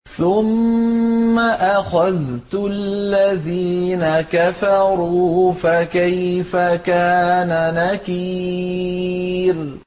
ثُمَّ أَخَذْتُ الَّذِينَ كَفَرُوا ۖ فَكَيْفَ كَانَ نَكِيرِ